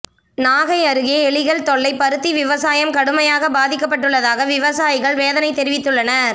நாகை அருகே எலிகள் தொல்லை பருத்தி விவசாயம் கடுமையாக பாதிக்கப்பட்டுள்ளதாக விவசாயிகள் வேதனை தெரிவித்துள்ளனர்